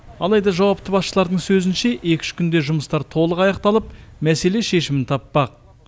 алайда жауапты басшылардың сөзінше екі үш күнде жұмыстар толық аяқталып мәселе шешімін таппақ